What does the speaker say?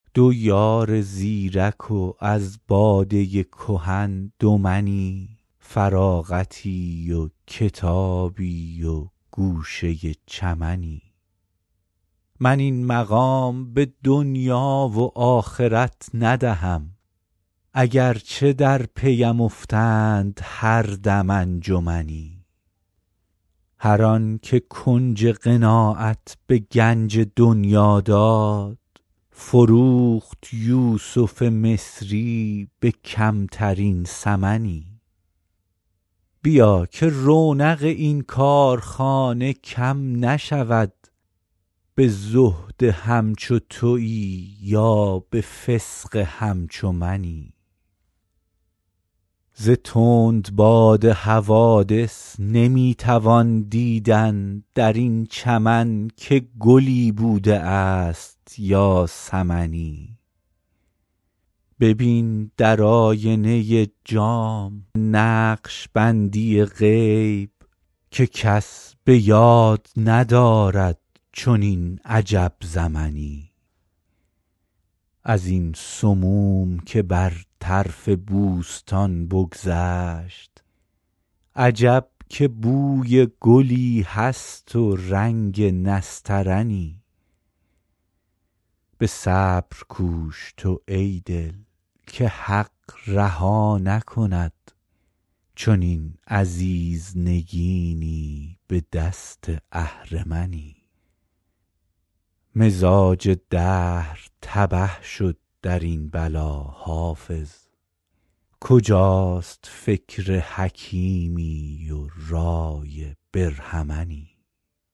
دو یار زیرک و از باده کهن دو منی فراغتی و کتابی و گوشه چمنی من این مقام به دنیا و آخرت ندهم اگر چه در پی ام افتند هر دم انجمنی هر آن که کنج قناعت به گنج دنیا داد فروخت یوسف مصری به کمترین ثمنی بیا که رونق این کارخانه کم نشود به زهد همچو تویی یا به فسق همچو منی ز تندباد حوادث نمی توان دیدن در این چمن که گلی بوده است یا سمنی ببین در آینه جام نقش بندی غیب که کس به یاد ندارد چنین عجب زمنی از این سموم که بر طرف بوستان بگذشت عجب که بوی گلی هست و رنگ نسترنی به صبر کوش تو ای دل که حق رها نکند چنین عزیز نگینی به دست اهرمنی مزاج دهر تبه شد در این بلا حافظ کجاست فکر حکیمی و رای برهمنی